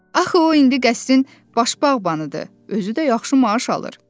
Axı o indi qəsrin baş bağbanıdır, özü də yaxşı maaş alır.